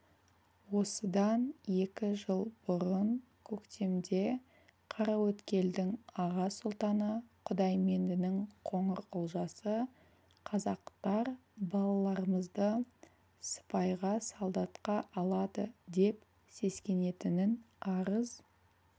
осыдан екі жыл бұрын көктемде қараөткелдің аға сұлтаны құдайменденің қоңырқұлжасы қазақтар балаларымызды сыпайға солдатқа алады деп сескенетінін арыз